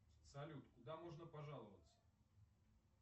салют куда можно пожаловаться